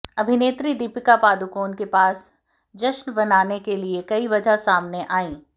अभिनेत्री दीपिका पादुकोण के पास जश्न मनाने के लिए कई वजह सामने आईं